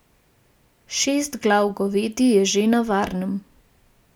Šest glav govedi je že na varnem.